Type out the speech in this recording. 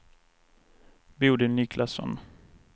Bodil Niklasson